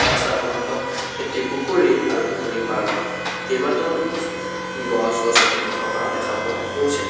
ৰাস্তাৰ সন্মুখত এটি পুখুৰী আৰু পুখুৰী পাৰত কেইবাটাও গছ-গছনি থকা দেখা পোৱা গৈছে।